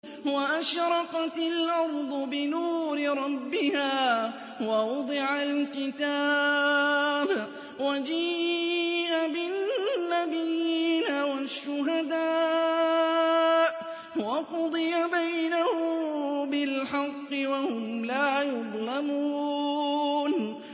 وَأَشْرَقَتِ الْأَرْضُ بِنُورِ رَبِّهَا وَوُضِعَ الْكِتَابُ وَجِيءَ بِالنَّبِيِّينَ وَالشُّهَدَاءِ وَقُضِيَ بَيْنَهُم بِالْحَقِّ وَهُمْ لَا يُظْلَمُونَ